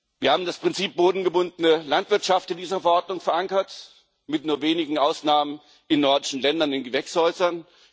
Wir haben das Prinzip bodengebundene Landwirtschaft in dieser Verordnung verankert mit nur wenigen Ausnahmen in nordischen Ländern, in den Gewächshäusern.